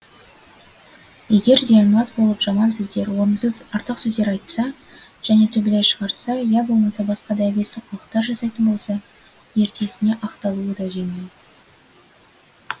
егер де мас болып жаман сөздер орынсыз артық сөздер айтса және төбелес шығарса я болмаса басқа да әбестік қылықтар жасайтын болса ертесіне ақталуы да жеңіл